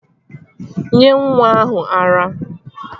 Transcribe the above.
Nyee nwa ahụ ara!